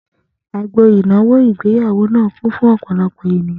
Agbo ìnáwó ìgbéyàwó náà kún fún ọ̀pọ̀lọpọ̀ èèyàn